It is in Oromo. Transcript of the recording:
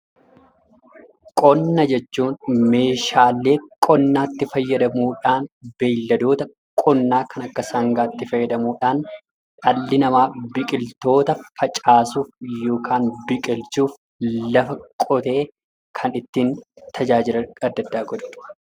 Qonna jechuun meeshaalee qonnaatti fayyadamuudhaan, beeyladoota qonnaa kan akka sangaatti fayyadamuudhaan dhalli namaa biqiltoota facaasuuf yookaan biqilchuuf lafa qotee kan ittiin tajaajila adda addaa godhudha.